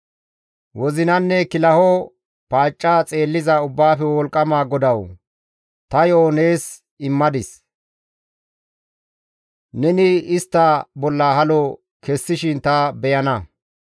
Wozinanne kilaho paacca xeelliza Ubbaafe Wolqqama GODAWU! Ta yo7ota nees immadis; neni istta bolla halo kessishin ta beyana.